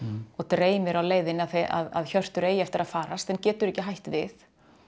og dreymir á leiðinni að Hjörtur eigi eftir að farast en getur ekki hætt við